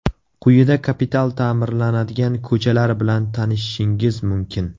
Quyida kapital ta’mirlanadigan ko‘chalar bilan tanishishingiz mumkin.